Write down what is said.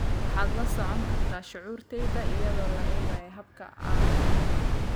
waxaad la socon kartaa shucuurtayda iyadoo la eegayo habka aan u hadlo